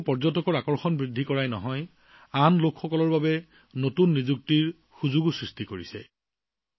ই কেৱল পৰ্যটকৰ আকৰ্ষণ বৃদ্ধি কৰাই নহয় আন মানুহৰ বাবেও নতুন কৰ্মসংস্থাপনৰ সুযোগো সৃষ্টি কৰিছে